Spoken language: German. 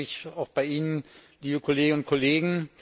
Ich bedanke mich auch bei Ihnen, liebe Kolleginnen und Kollegen!